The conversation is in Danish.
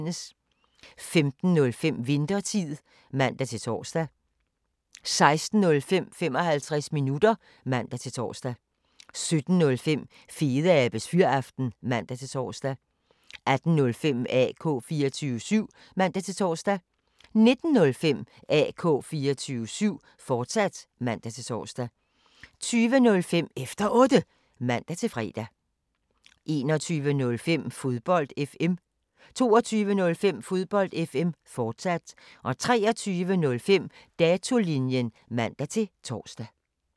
15:05: Winthertid (man-tor) 16:05: 55 minutter (man-tor) 17:05: Fedeabes Fyraften (man-tor) 18:05: AK 24syv (man-tor) 19:05: AK 24syv, fortsat (man-tor) 20:05: Efter Otte (man-fre) 21:05: Fodbold FM 22:05: Fodbold FM, fortsat 23:05: Datolinjen (man-tor)